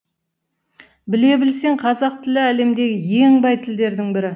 біле білсең қазақ тілі әлемдегі ең бай тілдердің бірі